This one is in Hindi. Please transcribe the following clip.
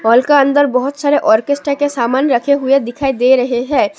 हॉल का अंदर बहुत सारे आर्केस्ट्रा के सामान रखे हुए दिखाई दे रहे है।